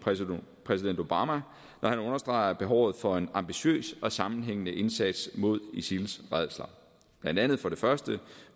præsident obama når han understreger behovet for en ambitiøs og sammenhængende indsats mod isils rædsler blandt andet for det første